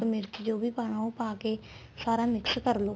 ਮਿਰਚ ਜੋ ਵੀ ਪਾਣਾ ਉਹ ਪਾ ਕੇ ਸਾਰਾ mix ਕਰਲੋ